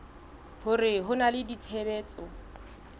hore ho na le tshebetso